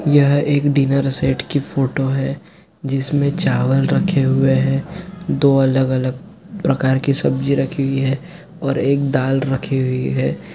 यह एक dinner set की फोटो है जिस में चावल रखे हुए है दो अलग-अलग प्रकार के सब्जी रखी हुई है और एक दाल रखी हुईं है।